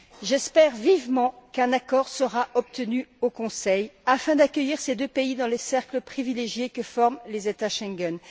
J'espère vivement qu'un accord sera obtenu au Conseil afin d'accueillir ces deux pays dans le cercle privilégié que forment les États Schengen.